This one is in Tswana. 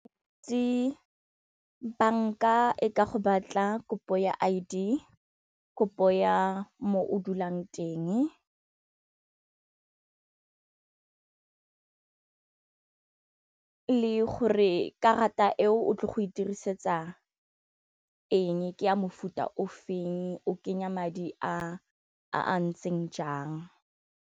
Di banka e ka go batla kopo ya I_D kopo ya mo o dulang teng le gore karata eo o tlo go e dirisetsa eng ke ya mofuta o feng o kenya madi a ntseng jang.